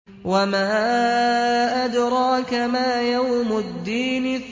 وَمَا أَدْرَاكَ مَا يَوْمُ الدِّينِ